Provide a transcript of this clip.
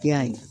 I y'a ye